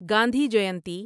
Gandhi Jayanti